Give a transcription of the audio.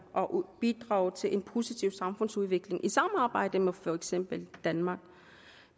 og bidrage til en positiv samfundsudvikling i samarbejde med for eksempel danmark